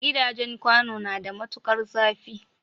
Gidajen kwano na da matukar zafi